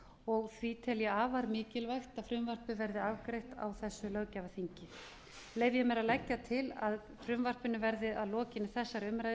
og því tel ég afar mikilvægt að frumvarpið verði afgreitt á þessu löggjafarþingi leyfi ég mér að leggja til að frumvarpinu verði að lokinni þessari umræðu